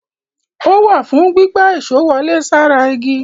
Ó wà fùn ún gbígbá èṣó wọlé sára igi.